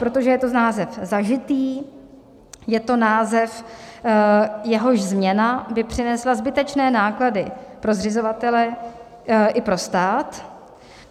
Protože je to název zažitý, je to název, jehož změna by přinesla zbytečné náklady pro zřizovatele i pro stát.